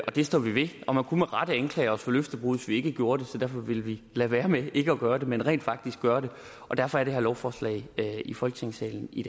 det står vi ved og man kunne med rette anklage os for løftebrud vi ikke gjorde det så derfor vil vi lade være med ikke at gøre det men rent faktisk gøre det og derfor er det her lovforslag i folketingssalen i